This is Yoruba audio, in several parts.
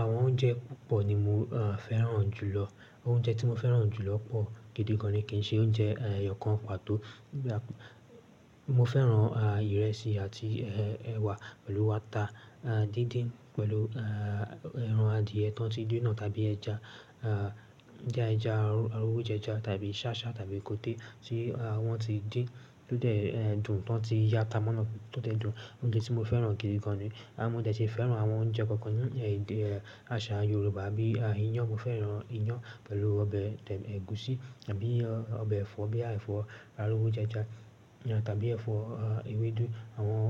Àwọn oúnjẹ púpọ̀ ni mo, ah, fẹ́ràn jùlọ. Oúnjẹ tí mo fẹ́ràn jù lọ pọ̀ gidi gan ni kì í ṣe oúnjẹ, ẹ, ẹyọ kan pàtó. Mo fẹ́ràn, a, ìrẹsì àti, ẹ, ẹ̀wà pẹ̀lú ata, ah, díndín pẹ̀lù, ẹ, ẹran adìẹ tó ti díná tàbí ẹja, ah, díndín ẹja, aró, aró ẹja tàbí sásá tàbí kòte tí, ah, wọ́n ti dín tó dẹ̀, ẹ, dùn, tan ti yi ata mọ́ naá tó dẹ̀ dùn. Oúnjẹ tí mo fẹ́ràn gidi gan ni. Ah, mo dẹ̀ ṣì fẹ́ràn àwọn oúnjẹ kọ̀ọ̀kan ní, ẹ, àṣà Yorùbá bí, a, iyán. Mo fẹ́ràn iyán pẹ̀lú ọbẹ̀, ẹ̀gúsí tàbí ọbẹ̀ ẹ̀fọ́ bí i ẹ̀fọ́ arowojẹja tàbí ẹ̀fọ́, ewédú. Àwọn,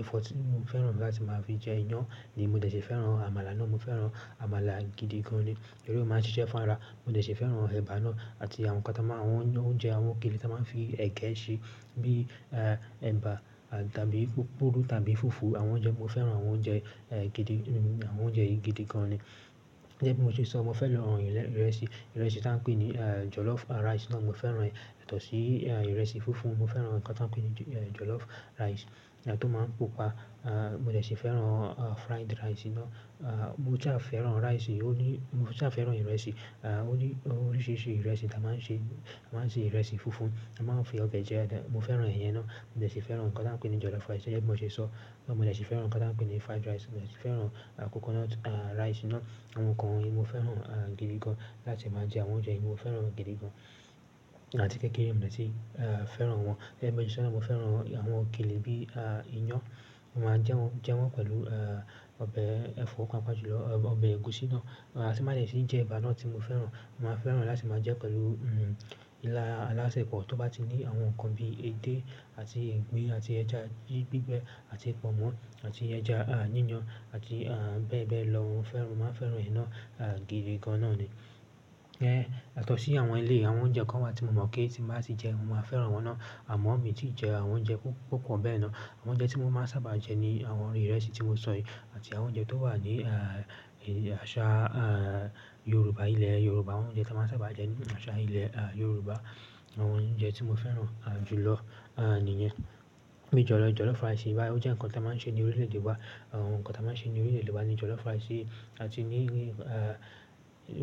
ẹ̀fọ́ tí mo fẹ́ràn láti máa fi jẹ iyán ni mo dẹ̀ ṣì fẹ́ràn àmàlà ná. Mo fẹ́ràn àmàlà gidi gan ni. Torí o máa ń ṣiṣẹ́ fún ara. Mo dẹ ìbá náà àti àwọn oúnjẹ òkèlè tí a máa ń fi ẹ̀gẹ́ ṣe bí ẹ̀bà tàbí pupuru tàbí fùfú. Àwọn oúnjẹ, mo fẹ́ràn àwọn oúnjẹ, ẹ, gidi, àwọn oúnjẹ yìí gidi gan ni. Gẹ́gẹ́ bí mo ṣe sọ, mo fẹ́ràn ìrẹsì, ìrẹsì tí wọ́n ń pè ní, ẹ, jollof rice náà mo fẹ́ràn ẹ́. Yátọ̀sí, a, ìrẹsì funfun mo fẹ́ràn nǹkan tí wọ́n ń pè ní jollof rice, ẹ, tó máa ń pupa. Ah, mo dẹ̀ ṣì fẹ́ràn, a, fried rice ná. Ah, mo saà fẹ́ràn rice òní, mo jẹ à fẹ́ràn ìrẹsì, a, oní oríṣìíríṣìí ìrẹsì tí a máa ń ṣe, a máa ń sè ìrẹsì funfun, a máa ń fi ọbẹ̀ jẹ ẹ́. Mo fẹ́ràn iyẹn ná. Mo dẹ̀ ṣì fẹ́ràn nǹkan tí wọ́n ń pè ní jollof rice gẹ́gẹ́ bí mo ṣe sọ. Mo jẹ̀ ṣì fẹ́ràn nǹkan tí wọ́n ń pè ní fried rice. Mo jẹ̀ ṣì fẹ́ràn, a, coconut, a, rice ná. Àwọn nnkàn wọ̀nyí mo fẹ́ràn gidigan láti máa jẹ àwọn oúnjẹ yìí mo fẹ́ràn gidigan. Àti kéékèèké mo dẹ̀ tì, ẹ, fẹ́ràn wọn. Gẹ́gẹ́ bí mo ṣe sọ náà mo fẹ́ràn àwọn òkèlè bí, a, iyán. Mo máa ń jẹ́ wọ́n, jẹ́ wọ́n pẹ̀lú, ẹ, ọbẹ̀ ẹ̀fọ́ paapaa jùlọ ọbẹ̀ ẹ̀gúsí ná. A ti n ba dẹ sin jẹ̀ ẹba naá tí mo fẹ́ràn. Mo máa fẹ́ràn láti máa jẹ́ pẹ̀lú, un, ilá alásẹ̀pọ̀ tó bá ti ní àwọn nǹkan bíi èdè àti igbin àti ẹja gbí, gbígbẹ́ àti pọnmọ́ àti ẹja, a, yíyan àti, a, bẹ́ẹ̀ bẹ́ẹ̀ lọ. Mo fẹ́ràn, mo máa fẹ́ràn ẹ̀ náà gidi gan náà ní. Yátọ̀sí àwọn eléyi àwọn oúnjẹ kan wà tí mo mọ́ pé tí n bá sì jẹ́ mo máa fẹ́ràn wọ́n ná. Àmọ́ mi ń tí jẹ àwọn oúnjẹ púpọ̀ bẹ́ẹ̀ náà. Àwọn oúnjẹ tí mo máa ń sábà jẹ ní àwọn ìrẹsì tí mo sọ yìí àti àwọn oúnjẹ tó wà ní, a, àṣà, a, Yorùbá ilẹ̀ Yorùbá. Àwọn oúnjẹ tí a máa ń sábà jẹ ní àṣà ilẹ̀, a, Yorùbá àwọn oúnjẹ tí mo fẹ́ràn, a, jù lọ, a, nìyẹn. Bíi jollo-jollof rice bá, ó jẹ́ nǹkan tí a máa ń ṣe ní orílẹ̀ èdè wa. Àwọn nǹkan tá ma ń ṣe ní orílẹ̀-èdè wa no jollof rice yì àti ní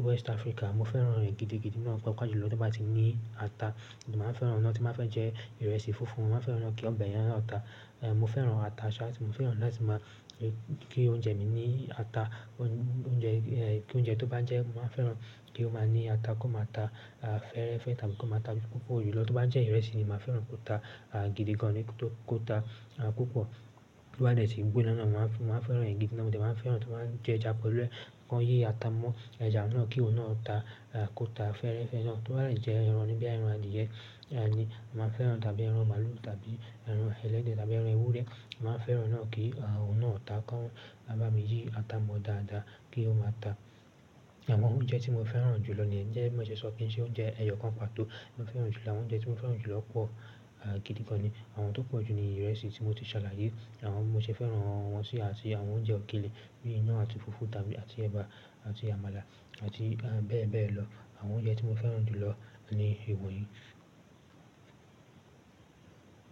west africa mo fẹ́ràn gidigidi náà pàápàá jùlọ tó bá ti ní ata. Mo máa ń fẹ́ràn náà tí mo bá fẹ́ jẹ ìrẹsì funfun. Mo máa fẹ́ràn kí ọbẹ̀ yẹn náà ta. Ẹ, mo fẹ́ràn ata ṣáá. Mo fẹ́ràn láti máa jẹ ki oúnjẹ mi ní ata. Oúnjẹ, ẹ, kí oúnjẹ tó bá ń jẹ ẹ́ mo máa ń fẹ́ràn kí ó máa ní ata kó máa ta, a, fẹ́ẹ́rẹ́fẹ́ tàbí kó máa ta púpọ̀ jùlọ. Tó bá jẹ ìrẹsì ni mo máa ń fẹ́ràn kó ta, a, gidi gan ni kó, kó ta, a, púpọ̀. Tó bá dẹ ṣì gbóná náà mo máa ń fẹ́ràn ẹ́ gidi náà. Mo jẹ̀ máa ń fẹ́ràn tí wọ́n máa ń ge ẹja pẹ̀lú ẹ̀, kan yi ata mọ́ ẹja náà kí òun náà ó ta, a, kó ta fẹ́ẹ́rẹ́fẹ́ ná. Tó bá jẹ́ ẹran bí i ẹran adìẹ, ẹ, ni mo máa ń fẹ́ràn tàbí ẹran màlúù tàbí ẹran ẹ̀lẹ́dẹ́ tàbí ẹran ewúrẹ́, mo máa ń fẹ́ràn ẹ náà kí, a, òun náà ó ta kan bá mi yí ata mọ́ dáadáa kí ó máa ta. Àwọn oúnjẹ tí mo fẹ́ràn jù lọ ni. Gẹ́gẹ́ bí mo ṣe sọ pé kí í ṣe oúnjẹ ẹyọ kan pàtó mo fẹ́ràn jù lọ. Àwọn oúnjẹ tí mo fẹ́ràn jù lọ pọ̀, gidi gan ni iwọn yi.